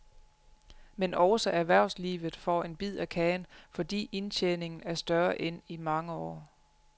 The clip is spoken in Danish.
Men også erhvervslivet får en bid af kagen, fordi indtjeningen er større end i mange år.